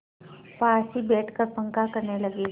पास ही बैठकर पंखा करने लगी